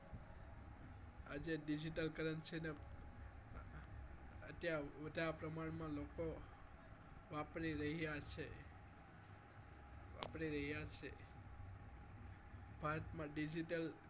આજે Digital currency ને અત્યારે વધારે પ્રમાણમાં લોકો વાપરી રહ્યા છે ભારતમા digital